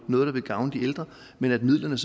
noget der vil gavne de ældre men midlerne